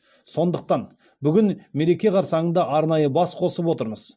сондықтан бүгін мереке қарсаңында арнайы бас қосып отырмыз